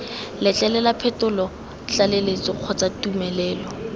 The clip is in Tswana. letlelela phetolo tlaleletso kgotsa tumelelo